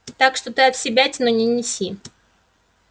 так что ты отсебятину не неси